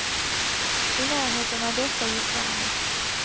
I närheten av dessa gick larmet.